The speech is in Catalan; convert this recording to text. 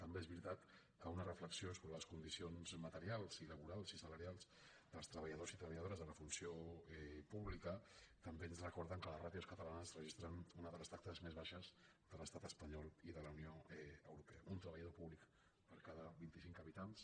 també és veritat que una reflexió sobre les condici·ons materials i laborals i salarials dels treballadors i treballadores de la funció pública també ens recor·den que les ràtios catalanes registren una de les taxes més baixes de l’estat espanyol i de la unió europea un treballador públic per cada vint·i·cinc habitants